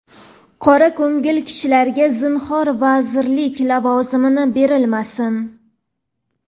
qora ko‘ngil kishilarga zinhor vazirlik (lavozimi) berilmasin.